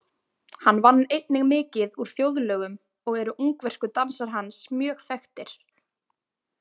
Hann vann einnig mikið úr þjóðlögum og eru Ungversku dansar hans mjög þekktir.